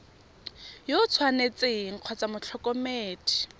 yo o tshwanetseng kgotsa motlhokomedi